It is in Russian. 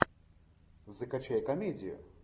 закачай комедию